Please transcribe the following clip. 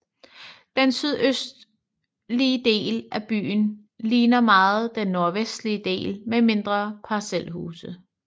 Den sydøstlige del af byen ligner meget den nordvestlige del med mindre parcelhuse